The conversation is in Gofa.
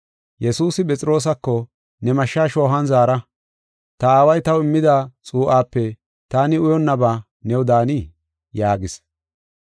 Yesuusi Phexroosako, “Ne mashsha shoohuwan zaara. Ta Aaway taw immida xuu7ape taani uyonnabaa new daanii?” yaagis.